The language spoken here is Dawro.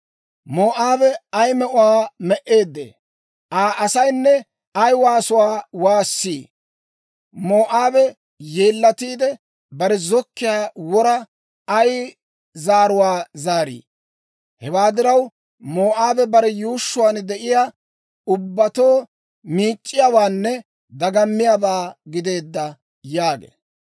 «Moo'aabe ay me'uwaa me"eeddee! Aa asaynne ay waasuwaa waassi! Moo'aabe yeellatiide, bare zokkiyaa wora ay zaaruwaa zaarii! Hewaa diraw, Moo'aabe bare yuushshuwaan de'iyaa ubbatoo miic'c'iyaawaanne dagammiyaabaa gideedda» yaagee.